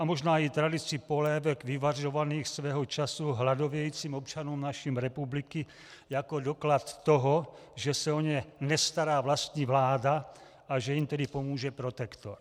A možná i tradici polévek vyvařovaných svého času hladovějícím občanům naší republiky jako doklad toho, že se o ně nestará vlastní vláda a že jim tedy pomůže protektor.